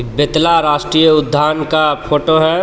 बेतला राष्ट्रीय उद्यान का फोटो हैं.